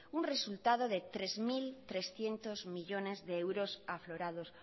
un resultado de tres mil trescientos millónes de euros aflorados